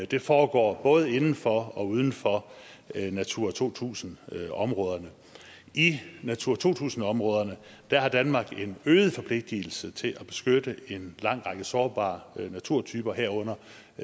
det foregår både inden for og uden for natura to tusind områderne i natura to tusind områderne har danmark en øget forpligtigelse til at beskytte en lang række sårbare naturtyper herunder